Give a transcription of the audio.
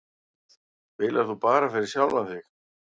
Spilar þú bara fyrir sjálfan þig?